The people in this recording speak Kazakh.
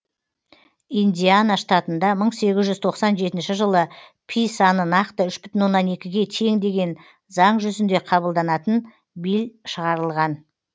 индиана штатында мың сегіз жүз тоқсан жетінші жылы пи саны нақты үш бүтін оннан екіге тең деген заң жүзінде қабылданатын билль шығарылған